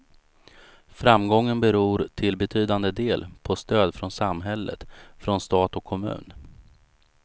Framgången beror till betydande del på stöd från samhället, från stat och kommun.